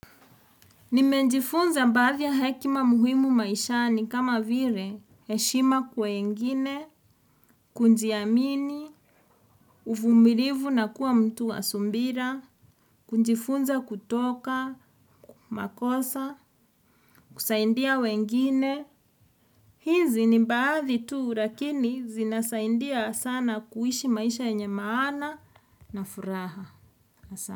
Nimenjifunza baadhi ya hekima muhimu maishani kama vile, heshima kwa wengine, kujiamini, uvumilivu na kuwa mtu wa subira, kujifunza kutoka, makosa, kusaidia wengine. Hizi ni baadhi tuu lakini zinasaidia sana kuishi maisha yenye maana na furaha.